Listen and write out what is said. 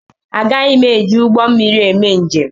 Agaghị m eji ụgbọ mmiri eme njem.